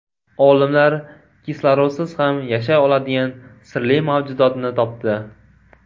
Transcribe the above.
Olimlar kislorodsiz ham yashay oladigan sirli mavjudotni topdi.